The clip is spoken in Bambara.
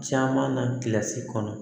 Caman na kilasi kɔnɔ